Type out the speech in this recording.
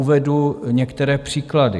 Uvedu některé příklady.